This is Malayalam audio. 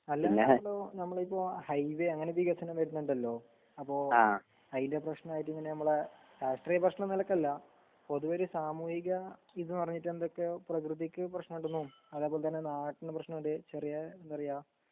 അല്ലാതെപ്പോ നമ്മളിപ്പോ ഹൈവേ അങ്ങനെ വികസനം വരുന്നുണ്ടാലോ അപ്പൊ അയിന്റെ പ്രേശ്നായിട്ട് ഇങ്ങനെമ്മളെ രാഷ്ട്രീയ പ്രേശ്ന നിലക്കല്ല പൊതുവോര് സാമൂഹിക ഇത് പറഞ്ഞിട്ടെന്തെക്കെയോ പ്രെകൃതിക്ക് പ്രേശ്നണ്ട്ന്നും അതേപോലതന്നെ നാട്ടിന് പ്രേശ്നണ്ട് ചെറിയ എന്താറയാ